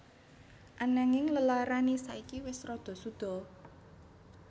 Ananging lelarane saiki wis rada suda